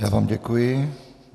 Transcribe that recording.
Já vám děkuji.